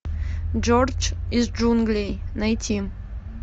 джордж из джунглей найти